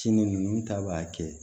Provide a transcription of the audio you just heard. Sini nunnu ta b'a kɛ